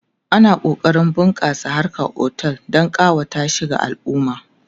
ana kokarin a bunƙasa harkan otel Dan kawata shi ga alumma